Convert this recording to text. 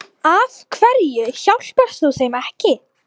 Af hverju hjálpar þú þeim ekki?